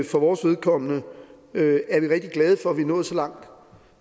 for vores vedkommende er vi rigtig glade for at vi er nået så langt